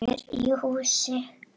Hér í hús